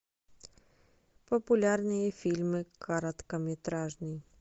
популярные фильмы короткометражный